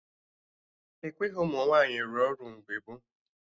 Ekweghị ụmụ nwaanyị rụọ ọrụ mgbe gboo